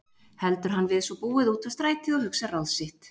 Heldur hann við svo búið út á strætið og hugsar ráð sitt.